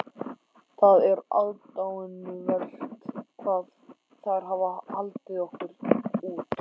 Það er aðdáunarvert hvað þær hafa haldið okkur út.